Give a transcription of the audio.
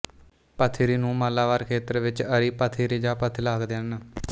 ਪਥਿਰੀ ਨੂੰ ਮਾਲਾਬਾਰ ਖੇਤਰ ਵਿੱਚ ਅਰੀ ਪਥਿਰੀ ਜਾਂ ਪਥਿਲ ਆਖਦੇ ਹਨ